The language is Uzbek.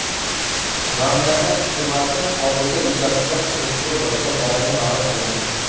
Mamlakat hukumati hodisa yuzasidan surishtiruv boshlanganini ma’lum qilgan.